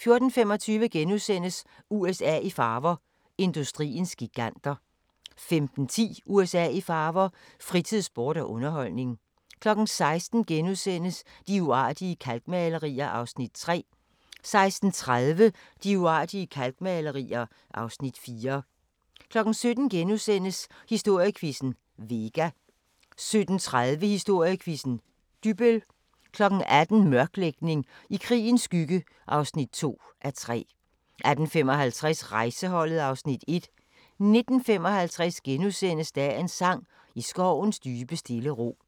14:25: USA i farver – industriens giganter * 15:10: USA i farver – fritid, sport og underholdning 16:00: De uartige kalkmalerier (Afs. 3)* 16:30: De uartige kalkmalerier (Afs. 4) 17:00: Historiequizzen: Vega * 17:30: Historiequizzen: Dybbøl 18:00: Mørklægning: I krigens skygge (2:3) 18:55: Rejseholdet (Afs. 1) 19:55: Dagens sang: I skovens dybe stille ro *